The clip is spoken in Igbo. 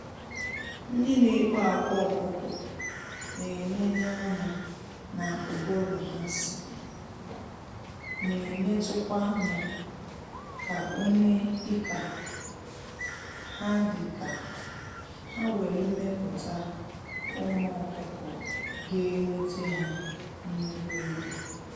Ndị na ekpo akwa ọkụkọ na eneneanya na ụbụrụ ha sị, n'enetukwa anya ka one ike ha dị ka ha welu muputa ụmụ ọkụkọ ga-enwete ha nnukwu ego.